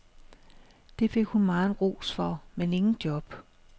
Det fik hun megen ros for, men ingen job.